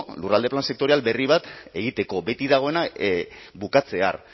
lurralde plan sektorial berri bat egiteko beti dagoena bukatzear